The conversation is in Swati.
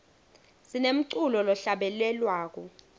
sinemculo lohlabelelwako